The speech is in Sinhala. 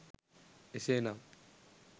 එසේ නම්